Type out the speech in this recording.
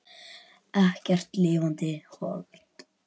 Ekkert lifandi hold.